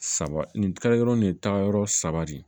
Saba nin taga yɔrɔ nin ye taayɔrɔ saba de ye